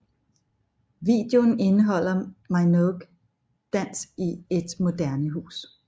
Videoen indeholder Minogue dans i et moderne hus